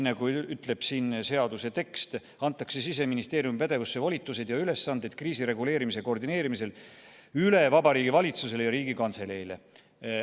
Nagu seletuskirja tekst ütleb: Siseministeeriumi pädevused, volitused ja ülesanded kriisireguleerimise koordineerimisel antakse üle Vabariigi Valitsusele ja Riigikantseleile.